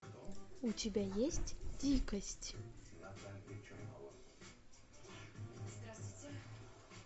у тебя есть дикость